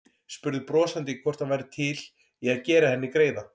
Spurði brosandi hvort hann væri til í að gera henni greiða.